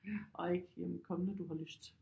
Og ikke komme når du har lyst